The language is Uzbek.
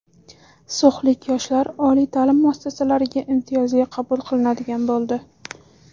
So‘xlik yoshlar oliy ta’lim muassasalariga imtiyozli qabul qilinadigan bo‘ldi.